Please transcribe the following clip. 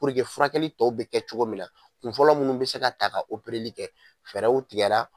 Puruke furakɛli tɔw bɛ kɛ cogo min na kunfɔlɔ munnu bɛ se ka ta ka opereli kɛ fɛɛrɛw tigɛ la.